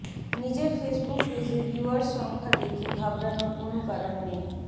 নিজের ফেসবুক পেজে ভিউয়ার্স সংখ্যা দেখে ঘাবড়ানোর কোনো কারণ নেই